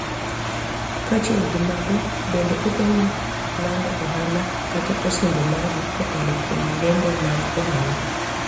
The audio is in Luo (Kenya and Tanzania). Kaachiel gi mago, bende okonyi lando ohala kata osimbo mari kokalo kuom lendo mag ohala.